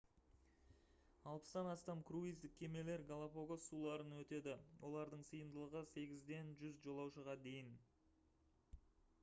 60-тан астам круиздік кемелер галапагос суларын өтеді олардың сыйымдылығы 8-ден 100 жолаушыға дейін